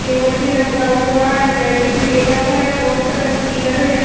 Table भी लगा हुआ है। डाइनिंग टेबल है। बहोत सारा चेयर हैं यहाँ --